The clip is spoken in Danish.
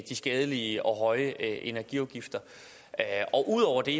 skadelige og høje energiafgifter ud over det